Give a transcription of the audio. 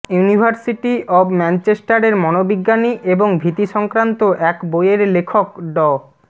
university of ম্যানচেস্টারের মনোবিজ্ঞানী এবং ভীতি সংক্রান্ত এক বইয়ের লেখক ড